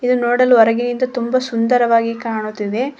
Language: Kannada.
ಇಲ್ಲಿ ನೋಡಲು ಹೊರಗಿನಿಂದ ತುಂಬಾ ಸುಂದರವಾಗಿ ಕಾಣುತ್ತಿದೆ.